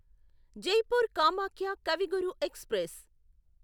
Jaipur Kamakhya Kavi Guru express